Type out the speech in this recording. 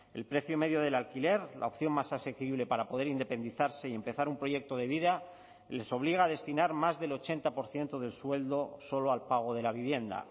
el precio medio del alquiler la opción más asequible para poder independizarse y empezar un proyecto de vida les obliga a destinar más del ochenta por ciento del sueldo solo al pago de la vivienda